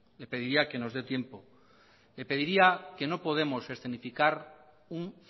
le pediría que nos dé tiempo le pediría que no podemos un